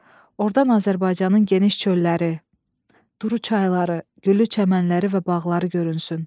ordan Azərbaycanın geniş çölləri, duru çayları, güllü çəmənlikləri və bağları görünsün.